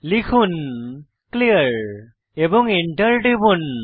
লিখুন ক্লিয়ার এবং এন্টার টিপুন